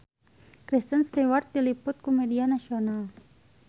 Kristen Stewart diliput ku media nasional